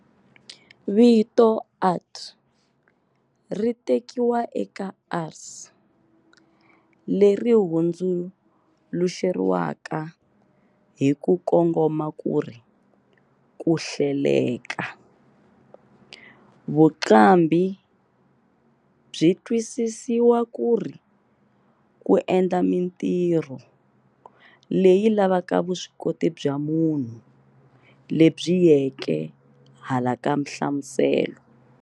Vito art ritekiwa eka ars, leri hundzuluxeriwaka hiku kongoma kuri, "kuhleleka", vuqambhi byi twisisiwa kuri ku endla mintirho leyi lavaka vuswikoti bya munhu lebyi yeke hala ka mhlamuselo.